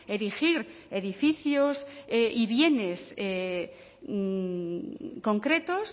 erigir edificios y bienes concretos